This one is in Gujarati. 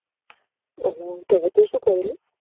ઓ હો તો હવે તો શું કર્યું લી